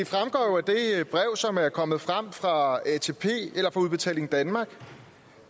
brev som er kommet frem fra udbetaling danmark